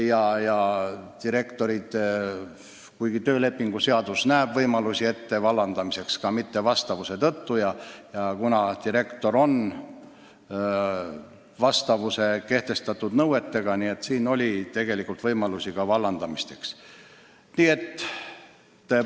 Samas näeb töölepingu seadus ette võimalusi inimeste vallandamiseks nõuetele mittevastavuse tõttu ja kuna direktori töö peab vastama kehtestatud nõuetele, siis on olnud võimalik ka direktorit vallandada.